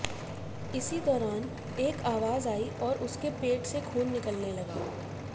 इसी दौरान एक आवाज आई और उसके पेट से खून निकलने लगा